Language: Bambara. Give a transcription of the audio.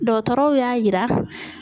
Dɔgɔtɔrɔw y'a yira.